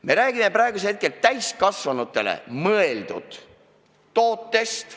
Me räägime praegu täiskasvanutele mõeldud tootest.